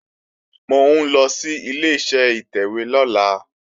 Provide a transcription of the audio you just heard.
Mò ń lọ sí Ileṣẹ́ ìtẹ̀wé lọ́la